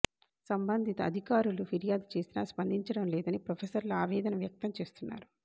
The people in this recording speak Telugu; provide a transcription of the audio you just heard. సంబంధిత అధికారులు ఫిర్యాదు చేసినా స్పందించడం లేదని ప్రొఫెసర్లు ఆవేదన వ్యక్తం చేస్తున్నారు